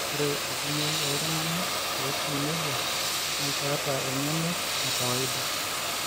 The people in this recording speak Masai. ore enkumoi ooltunganak ootiu nejia naa keeta engeno e kawaida.